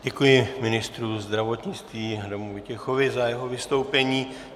Děkuji ministru zdravotnictví Adamu Vojtěchovi za jeho vystoupení.